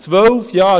Zwölf Jahre!